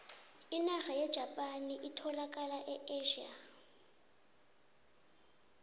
inarha yejapani etholakala e asia